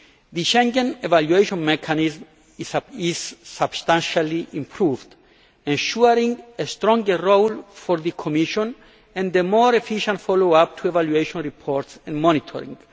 The Schengen evaluation mechanism is substantially improved, ensuring a stronger role for the Commission and a more efficient follow up to evaluation reports and monitoring.